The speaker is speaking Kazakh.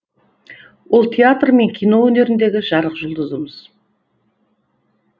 ол театр мен кино өнеріндегі жарық жұлдызымыз